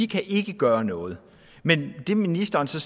kan gøre noget men det ministeren så